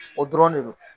O dɔrɔn de don